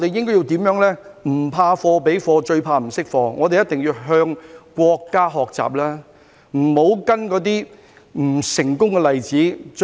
"不怕貨比貨，最怕不識貨"，我們一定要向國家學習，不要跟隨那些不成功的例子。